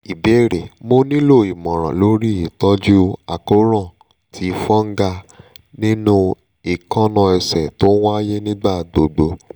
ìbéèrè: mo nílò ìmọ̀ràn lórí ìtọ́jú akoran ti fungal ninu ekanna ese to n waye nigbagbogbo